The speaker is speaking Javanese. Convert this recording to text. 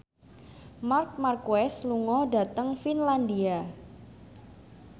Marc Marquez lunga dhateng Finlandia